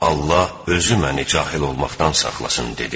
Allah özü məni cahil olmaqdan saxlasın.